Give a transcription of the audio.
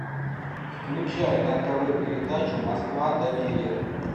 включай на тв передачу москва доверие